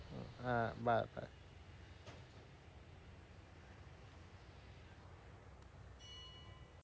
হ্যাঁ bye